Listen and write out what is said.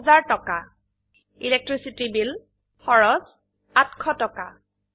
বিদ্যুৎ মাশুল electricity bill এৰ বাবে খৰচ ৮০০ টাকা